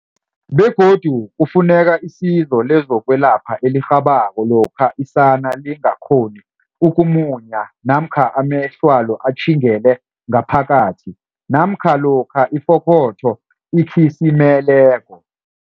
Begodu kufuneka isizo lezokwelapha elirhabako lokha isana lingakghoni uku munya namkha amehlwalo atjhingele ngaphakathi namkha lokha ifokotho ikhi simeleko.